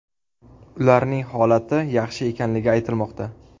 Ularning holati yaxshi ekanligi aytilmoqda.